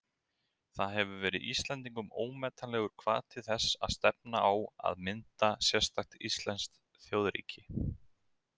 Það hefur verið Íslendingum ómetanlegur hvati þess að stefna á að mynda sérstakt íslenskt þjóðríki.